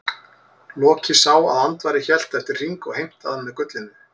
Loki sá að Andvari hélt eftir hring og heimtaði hann með gullinu.